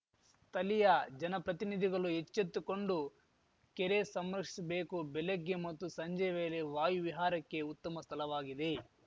ಸ್ಥಲೀಯ ಜನಪ್ರತಿನಿಧಿಗಲು ಎಚ್ಚೆತ್ತುಕೊಂಡು ಕೆರೆ ಸಂರಕ್ಷಿಸಬೇಕು ಬೆಲಗ್ಗೆ ಮತ್ತು ಸಂಜೆಯ ವೇಲೆ ವಾಯು ವಿಹಾರಕ್ಕೆ ಉತ್ತಮ ಸ್ಥಲವಾಗಿದೆ